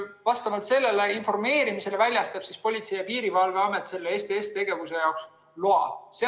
Vastavalt sellele informeerimisele väljastab Politsei‑ ja Piirivalveamet STS‑tegevuse jaoks loa.